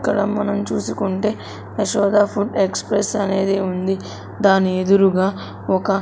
ఇక్కడ మనం చూసుకుంటే యశోద ఫుడ్ ఎక్స్ప్రెస్ అనేది ఉంది దాని ఎదురుగా ఒక--